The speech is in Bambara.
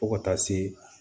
Fo ka taa se